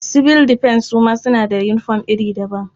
Sibil difens su ma suna da yinifom iri daban.